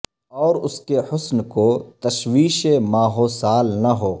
اور اس کے حسن کو تشوش ماہ وسا ل نہ ہو